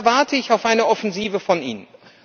Da warte ich auf eine Offensive von Ihnen.